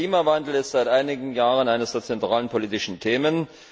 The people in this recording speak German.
Der Klimawandel ist seit einigen Jahren eines der zentralen politischen Themen.